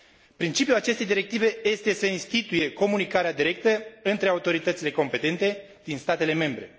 Principiul acestei directive este să instituie comunicarea directă între autoritățile competente din statele membre.